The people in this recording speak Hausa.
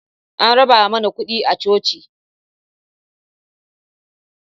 An raba mana kuɗi a coci